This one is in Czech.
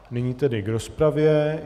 Nyní tedy k rozpravě.